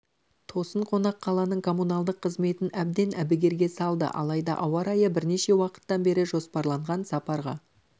тосын қонақ қаланың коммуналдық қызметін әбден әбігерге салды алайда ауа райы бірнеше уақыттан бері жоспарланған сапарға